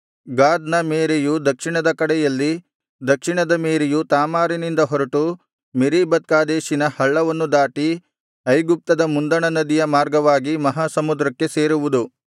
ಗಾದನ್ ಮೇರೆಯು ದಕ್ಷಿಣದ ಕಡೆಯಲ್ಲಿ ದಕ್ಷಿಣದ ಮೇರೆಯು ತಾಮಾರಿನಿಂದ ಹೊರಟು ಮೇರೀಬತ್ ಕಾದೇಶಿನ ಹಳ್ಳವನ್ನು ದಾಟಿ ಐಗುಪ್ತದ ಮುಂದಣ ನದಿಯ ಮಾರ್ಗವಾಗಿ ಮಹಾ ಸಮುದ್ರಕ್ಕೆ ಸೇರುವುದು